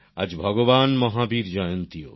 আজ ভগবান মহাবীর জয়ন্তীও